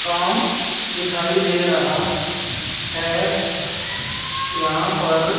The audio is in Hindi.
दुकान दिखाई दे रहा है यहां पर--